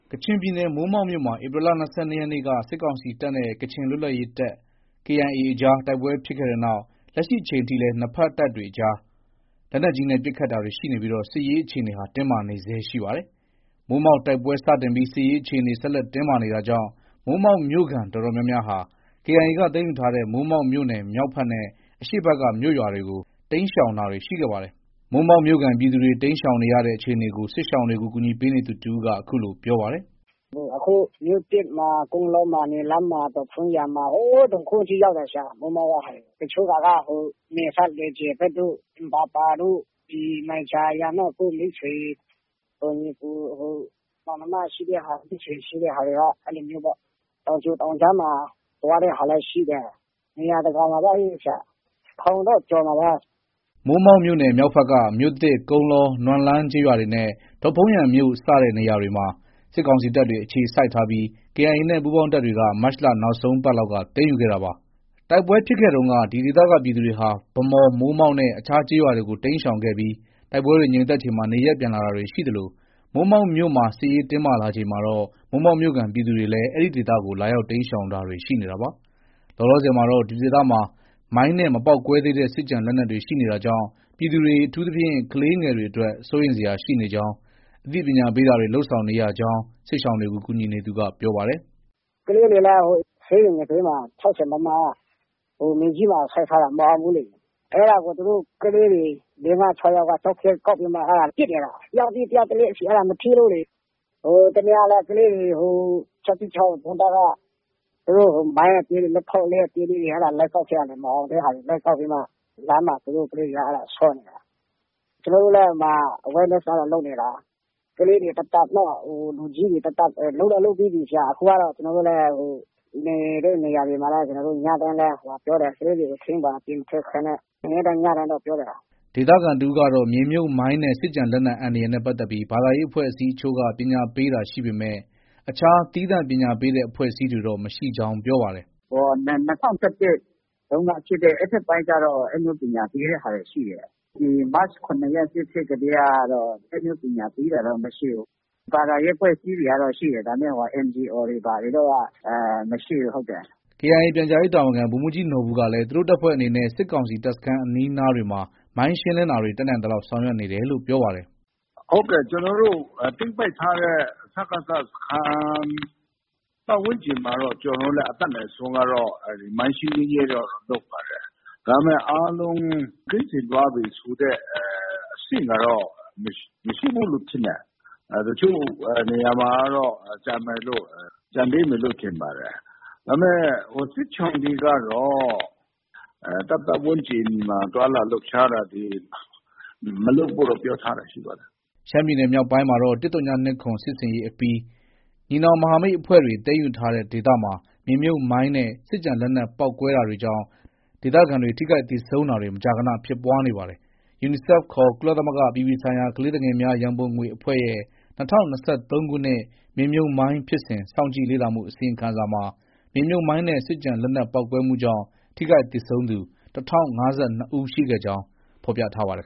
ကချင်ပြည်နယ် မိုးမောက်မြို့မှာ ဧပြီလ ၂၂ရက်နေ့က စစ်ကောင်စီတပ်နဲ့ ကချင်လွတ်လပ်ရေးတပ် KIA အကြား တိုက်ပွဲဖြစ်ခဲ့တဲ့နောက် လက်ရှိအချိန်ထိလည်း နှစ်ဖက်တပ်တွေအကြား လက်နက်ကြီးနဲ့ ပစ်ခတ်တာတွေရှိပြီး စစ်ရေးအခြေအနေဟာ တင်းမာနေဆဲရှိပါတယ်။ မိုးမောက်တိုက်ပွဲစတင်ပြီး စစ်ရေးအခြေအနေ ဆက်လက်တင်းမာနေတာကြောင့် မိုးမောက်မြို့ခံ အတော်များများဟာ KIA က သိမ်းယူထားတဲ့ မိုးမောက်မြို့နယ် မြောက်ဖက်နဲ့အရှေ့ဖက်က မြို့ရွာတွေကို တိမ်းရှောင်တာတွေရှိခဲ့ပါတယ်။။ မိုးမောက်မြို့ခံ ပြည်သူတွေ တိမ်းရှောင်နေတဲ့အခြေအနေကို စစ်ရှောင်တွေကို ကူညီနေသူတဦးက အခုလို ပြောပါတယ်။ “ အခု မြို့သစ်မှာ၊ ကုန်းလောမှာ၊ နွမ်လန်းမှာ၊ ဒေါ့ဖုန်းယန်မှာ ၊ ဟိုး တုန်ဟုန်းထိ ရောက်တယ်။ မိုးမောက်က ဟာတွေ။ တချို့ဟာက နယ်စပ် လွယ်ဂျယ်ဘက်တို့ ၊ အင်ဘာပါတို့၊ မိုင်ဂျာယန်တို့ ကိုယ့်မိတ်ဆွေ ညီအကို မောင်နှမရှိတဲ့ဟာ မိတ်ဆွေရှိတဲ့ဟာတွေက အဲလိုမျိုးပေါ့။ တောင်ကြိုတောင်ကြားမှာ သွားတဲ့ဟာလည်း ရှိတယ်။ နေရာတကာမှာပဲ။ ထောင်တော့ ကျော်မှာပါ။ ” မိုးမောက်မြို့နယ် မြောက်ဖက်က မြို့သစ်၊ ကုန်းလော၊ နွမ်လန်းကျေးရွာတွေနဲ့ ဒေ့ါဖုန်းယန်မြို့စတဲ့နေရာတွေမှာ စစ်ကောင်စီတပ်တွေ အခြေစိုက်ထားပြီး KIA နဲ့ ပူးပေါင်းတပ်တွေက မတ်လနောက်ဆုံးပတ်လောက် သိမ်းယူခဲ့တာပါ။ တိုက်ပွဲဖြစ်ပွားစဉ်က ဒီဒေသကပြည်သူတွေဟာ ဗန်းမော်၊ မိုးမောက်နဲ့ အခြားကျေးရွာတွေကို တိမ်းရှောင်ခဲ့ပြီး တိုက်ပွဲတွေ ငြိမ်သက်ချိန်မှာ နေရပ်ပြန်လာတာတွေ ရှိသလို မိုးမောက်မြို့မှာ စစ်ရေး တင်းမာလာချိန်မှာတော့ မိုးမောက်မြို့ခံ ပြည်သူတွေလည်း အဲဒီဒေသကို လာရောက် တိမ်းရှောင်တာတွေ ရှိနေတာပါ။ လောလောဆယ်မှာတော့ ဒီဒေသမှာ မိုင်းနဲ့ မပေါက်ကွဲသေးတဲ့ စစ်ကျန်လက်နက်တွေရှိနေတာကြောင့် ပြည်သူတွေ အထူးသဖြင့် ကလေးငယ်တွေအတွက် စိုးရိမ်စရာရှိနေကြောင်း ၊ အသိပညာပေးတာတွေကို လုပ်ဆောင်နေရကြောင်း စစ်ရှောင်တွေကို ကူညီနေသူက ပြောပါတယ်။ “ ကလေးတွေလည်း ဆေးရုံနံဘေးမှာ ၆၀မမ မြေကြီးမှာ စိုက်ထားတာ မအောင်ဘူးလေ။ အဲဒါကို ကလေးတွေ သူတို့ ၄-၅-၆ယောက်က ကျောက်ခဲကောက်ပြီးမှ အဲဒါ ပစ်နေတာ။ တယောက်ပြီးတယောက် အဲဒါ မထိလို့လေ။ ဟိုတနေ့ကလည်း ကလေးတွေ ၆၁၆ ဒုံးတပ်က မိုင်းအသေးလေတွေ လက်ထောက်သီးအသေးတွေ လိုက်ကောက်ခဲ့တာနေမှာ မအောင်တဲ့ဟာတွေ လိုက်ကောက်ပြီးမှ လမ်းမှာ သူတို့ကလေးတွေက ဆော့နေတာ။ ကျနော်တို့လည်း ဟိုမှာ Awareness ကတော့ လုပ်နေတာ။ ကလေးတွေ သပ်သပ်။ လူကြီးတွေ သပ်သပ်။ လုပ်တော့ လုပ်ပြီးပြီ။ အခုကတော့ ကျနော်တို့လည်း နေတဲ့နေရာတွေမှာတော့ ညတိုင်းလည်း ပြောတယ်။ ကလေးတွေကို ထိန်းပါ။ အပြင်မထွက်ခိုင်းနဲ့ ၊ နေ့တိုင်းညတိုင်းတော့ ပြောတယ်။” ဒေသခံတဦးကတော့ မြေမြုပ်မိုင်းနဲ့ စစ်ကျန်လက်နက်အန္တရာယ်နဲ့ပတ်သက်ပြီး ဘာသာရေးအဖွဲ့အစည်းအချို့က ပညာပေးတာရှိပေမဲ့ အခြား သီးသန့်ပညာပေးတဲ့ အဖွဲ့အစည်းတွေတော့ မရှိကြောင်း ပြောပါတယ်။ “ ၂၀၁၁ တုန်းက ဖြစ်တဲ့ အဲဒီဘက်အပိုင်းကျတော့ အဲဒါမျိုးပညာပေးတဲ့ဟာတွေ ရှိတယ်။ မတ် ၇ ရက် စစ်ဖြစ်ကတည်းကတော့ အဲလိုမျိုးပညာပေးတာတွေ မရှိဘူး။ ဘာသာရေးအဖွဲ့အစည်းတွေကတော့ ရှိတယ်။ ဒါပေမဲ့ NGO တွေ ဘာတွေကတော့ မရှိဘူး။ ” KIA ပြန်ကြားရေးတာဝန်ခံ ဗိုလ်မှုးကြီးနော်ဘူကလည်း သူတို့တပ်ဖွဲ့အနေနဲ့ စစ်ကောင်စီတပ်စခန်း အနီးနားတွေမှာ မိုင်းရှင်းလင်းတာတွေ တက်နိုင်သလောက် ဆောင်ရွက်နေတယ်လို့ ပြောပါတယ်။ “ ဟုတ်ကဲ့။ ကျနော်တို့ သိမ်းပိုက်ထားတဲ့ စကစ စခန်း ပတ်ဝန်းကျင်မှာကတော့ ကျနော်တို့လည်း အတတ်နိုင်ဆုံးကတော့ မိုင်းရှင်းလင်းရေးတော့ လုပ်ပါတယ်။ ဒါပေမဲ့ အားလုံး ကင်းစင်သွားပြီ ဆိုတဲ့ အဆင့်ကတော့ မရှိဘူးလို့ ထင်တယ်။ တချို့နေရာမှာကတော့ ကျန်သေးမယ်လို့ ထင်ပါတယ်။ ဒါပေမဲ့ စစ်ရှောင်တွေကတော့ တပ်ပတ်ဝန်းကျင်မှာ သွားလာလှုပ်ရှားတာတွေ မလုပ်ဖို့တော့ ပြောထားတာ ရှိပါတယ်။” ရှမ်းပြည်နယ်မြောက်ပိုင်းမှာတော့ ၁၀၂၇စစ်ဆင်ရေးအပြီး ညီနောင်မဟာမိတ်အဖွဲ့တွေ သိမ်းယူထားတဲ့ဒေသမှာ မြေမြုပ်မိုင်းနဲ့ စစ်ကျန်လက်နက်ပေါက်ကွဲတာကြောင့် ဒေသခံတွေ ထိခိုက်သေဆုံးတာတွေ မကြာခဏ ဖြစ်ပွားနေပါတယ်။ UNICEF ခေါ် ကုလသမဂ္ဂ အပြည်ပြည်ဆိုင်ရာ ကလေးသူငယ်များရံပုံငွေအဖွဲ့ ရဲ့ ၂၀၂၃ခုနှစ် မြေမြုပ်မိုင်းဖြစ်စဉ် စောင့်ကြည့်လေ့လာမှုအစီရင်ခံစာမှာ မြေမြုပ်မိုင်းနဲ့ စစ်ကျန်လက်နက်ပေါက်ကွဲမှုကြောင့် ထိခိုက်သေဆုံးသူ ၁၀၅၂ ဦးရှိခဲ့ကြောင်းဖော်ပြထားပါတယ်